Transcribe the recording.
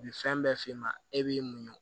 Bi fɛn bɛɛ f'e ma e b'i muɲu